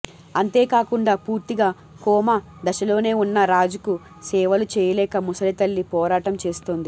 అంతేకాకుండా పూర్తిగా కోమా దశలోనే ఉన్న రాజుకు సేవలు చేయలేక ముసలి తల్లి పోరాటం చేస్తోంది